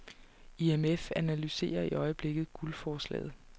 IMF analyserer i øjeblikket guldforslaget.